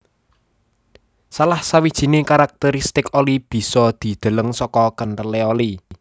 Salah sawijiné karakteristik oli bisa dideleng saka kenthelé oli